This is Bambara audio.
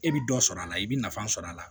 E bɛ dɔ sɔrɔ a la i bɛ nafa sɔrɔ a la